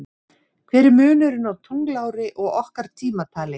Hver er munurinn á tunglári og okkar tímatali?